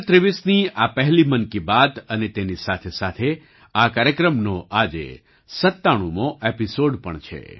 2023 ની આ પહેલી મન કી બાત અને તેની સાથે સાથે આ કાર્યક્રમનો આજે 97 મો એપિસોડ પણ છે